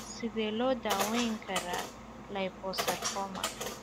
Sidee loo daweyn karaa liposarcoma?